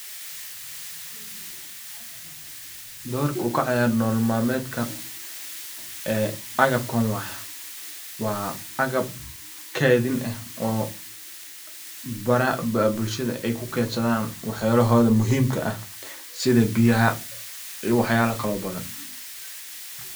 Doorku kaciyara door malameda agabkan waa agab keedhin eh oo baraha bulshada ey kuedsadha waxyalahoodha muhiimka ah iyo waxyala kale oo badhan.